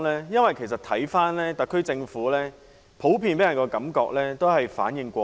因為看到特區政府普遍給人的感覺是反應過慢。